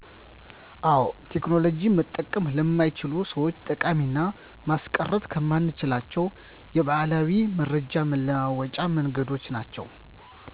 አዎ ቴክኖሎጂ መጠቀም ለማይችሉ ሰዎች ጠቃሚና ማስቀረትከማንችላቸው የበዓላዊ መረጃ መለዋወጫ መንገዶች ናቸው